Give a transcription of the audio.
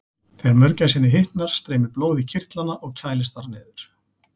Þegar mörgæsinni hitnar streymir blóð í kirtlana og kælist þar niður.